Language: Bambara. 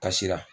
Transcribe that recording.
Kasira